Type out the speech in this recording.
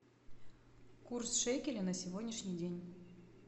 курс шекеля на сегодняшний день